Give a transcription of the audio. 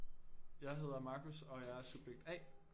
Jeg hedder Marcus og jeg er subjekt A